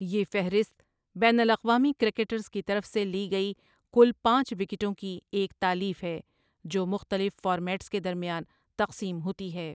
یہ فہرست بین الاقوامی کرکٹرز کی طرف سے لی گئی کل پانچ وکٹوں کی ایک تالیف ہے جو مختلف فارمیٹس کے درمیان تقسیم ہوتی ہے ۔